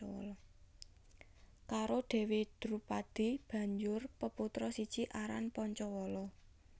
Karo Dewi Drupadi banjur peputra siji aran Pancawala